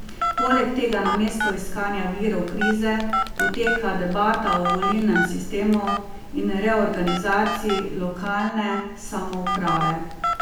Poleg tega namesto iskanja virov krize poteka debata o volilnem sistemu in reorganizaciji lokalne samouprave.